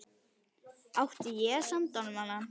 Átti ég að senda honum hana?